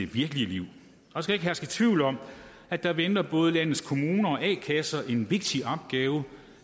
virkelige liv der skal ikke herske tvivl om at der venter både landets kommuner og a kasser en vigtig opgave